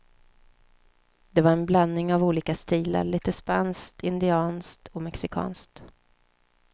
Det var en blandning av olika stilar, lite spanskt, indianskt och mexikanskt.